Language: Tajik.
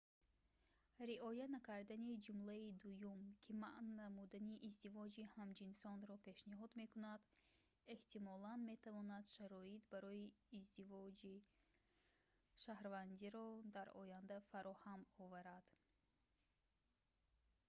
риоя накардани ҷумлаи дуюм ки манъ намудани издивоҷи ҳамҷинсонро пешниҳод мекунад эҳтимолан метавонад шароит барои издиҷоқи шаҳрвандиро дар оянда фароҳам оварад